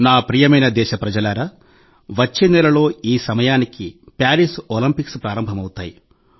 నా ప్రియమైన దేశప్రజలారా వచ్చే నెలలో ఈ సమయానికి ప్యారిస్ ఒలింపిక్స్ ప్రారంభమవుతాయి